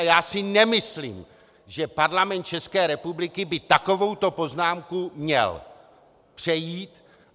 A já si nemyslím, že Parlament České republiky by takovouto poznámku měl přejít.